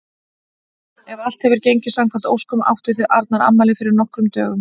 Ef allt hefur gengið samkvæmt óskum áttuð þið Arnar afmæli fyrir nokkrum dögum.